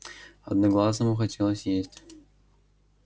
одноглазому хотелось есть